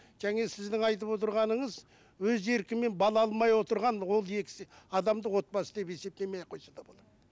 және сіздің айтып отырғаныңыз өз еркімен бала алмай отырған ол екісі адамды отбасы деп есептемей ақ қойса да болады